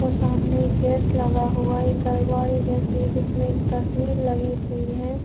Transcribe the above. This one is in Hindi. और सामने गेट लगा हुआ है एकल गाड़ी जैसी है जिसमें तस्वीर लगी हुई है।